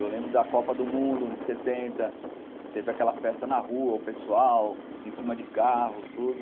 Eu lembro da Copa do Mundo de setenta, teve aquela festa na rua, o pessoal em cima de carros, tudo.